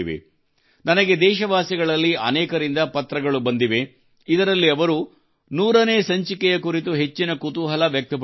ನನಗೆ ದೇಶವಾಸಿಗಳಲ್ಲಿ ಅನೇಕರಿಂದ ಪತ್ರಗಳು ಬಂದಿವೆ ಇದರಲ್ಲಿ ಅವರು 100 ನೇ ಸಂಚಿಕೆಯ ಕುರಿತು ಹೆಚ್ಚಿನ ಕುತೂಹಲ ವ್ಯಕ್ತಪಡಿಸಿದ್ದಾರೆ